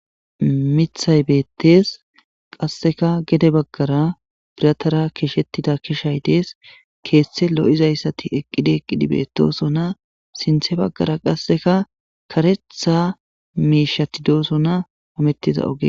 Mithay beettes qasseka gede baggara biratara kishettida kishay dees keeththe lo'izayssati eqqidi eqqidi beettosona sinthe baggara qasseka karetha miishatidoosona hamettiza oge.